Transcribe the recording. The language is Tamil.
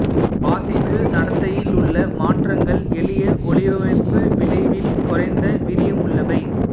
வாசிப்பு நடத்தையிலுள்ள மாற்றங்கள் எளிய ஒலிப்பமைப்பு விளைவில் குறைந்த வீரியமுள்ளவை